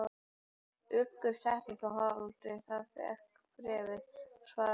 Uggur settist að Haraldi, þegar hann fékk bréfið, og hann svaraði því aldrei.